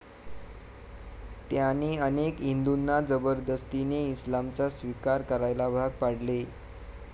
त्याने अनेक हिंदूंना जबरदस्तीने इस्लामचा स्वीकार करायला भाग पडले.